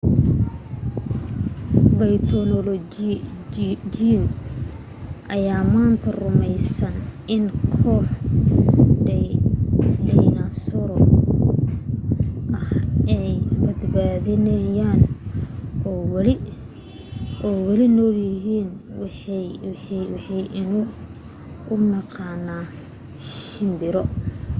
bayltonoloojiyiin ayaa maanta rumaysan in koox dhaynasooro ah ay badbaadeen oo weli nool yihiin waxaynu u naqaanaa shimbiro